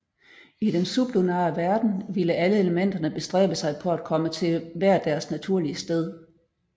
I den sublunare verden ville alle elementerne bestræbe sig på at komme til hver deres naturlige sted